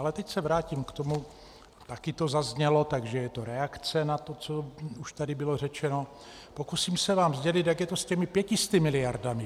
Ale teď se vrátím k tomu, taky to zaznělo, takže je to reakce na to, co už tady bylo řečeno, pokusím se vám sdělit, jak je to s těmi 500 miliardami.